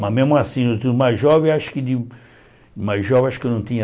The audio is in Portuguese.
Mas, mesmo assim, os mais jovens, acho que de mais jovens acho que eu não tinha